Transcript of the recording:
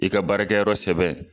I ka baarakɛyɔrɔ sɛbɛn